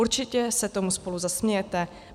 Určitě se tomu spolu zasmějete.